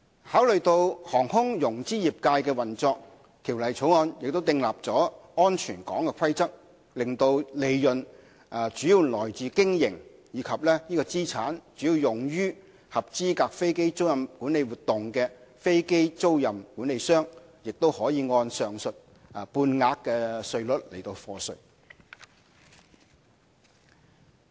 考慮到航空融資業界的運作，《條例草案》訂立了"安全港"規則，使利潤主要來自於經營，以及資產主要用於合資格飛機租賃管理活動的飛機租賃管理商，也可以按上述半額稅率課稅。